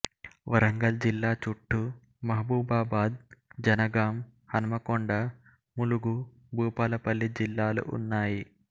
వరంగల్ జిల్లా చూట్టూ మహబూబాబాద్ జనగాం హన్మకొండ ములుగు భూపాలపల్లి జిల్లాలు ఉన్నాయి